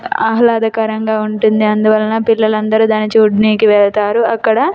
ఆహల్లదకరంగా ఉంటుంది అందువలన పిల్లలందరూ దానినిచుడనికి వెళ్తారు అక్కడ --.